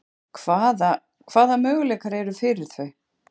Hvaða, hvaða möguleikar eru fyrir þau?